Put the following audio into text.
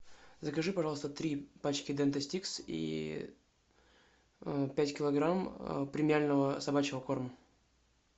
закажи пожалуйста три пачки дента стикс и пять килограмм премиального собачьего корма